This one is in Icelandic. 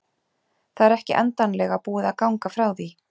Það er ekki endanlega búið að ganga frá því.